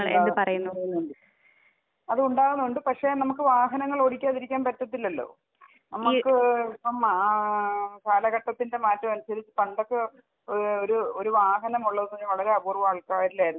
ഉണ്ടാകുന്നുണ്ട് അത് ഉണ്ടാവുന്നുണ്ട് പക്ഷെ നമുക്ക് വാഹനങ്ങൾ ഓടിക്കാതിരിക്കാൻ പറ്റത്തില്ലല്ലോ? ഈ നമക്ക് ഇപ്പം ആ കാലഘട്ടത്തിന്റെ മാറ്റം അനുസരിച്ച് പണ്ടൊക്കെ ഓ ഒരു വാഹനം ഉള്ളതെന്ന് പറഞ്ഞാ വളരെ അപൂർവ്വം ആൾക്കാരിലായിരുന്നു.